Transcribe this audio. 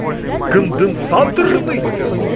конденсаторный